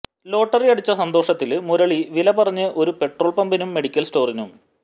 lottery അടിച്ച സന്തോഷത്തില് മുരളി വില പറഞ്ഞത് ഒരു പെട്രോള് പമ്പിനും മെഡിക്കല് സ്റ്റോറിനും